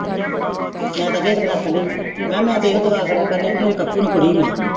ਮੈਂ ਤੇ ਅੱਗੇ ਇਕ ਦਿਨ ਆਖਣ ਡਈ ਸੀ ਮੈਂ ਤੇ ਹੈ ਦੁਆ ਕਰਨੀ ਕੇ ਮੇਰੇ ਕੱਕੂ ਨੂੰ ਕੁੜੀ ਮਿਲੇ।